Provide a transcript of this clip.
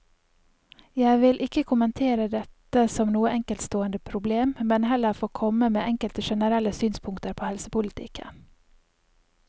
Jeg vil ikke kommentere dette som noe enkeltstående problem, men heller få komme med enkelte generelle synspunkter på helsepolitikken.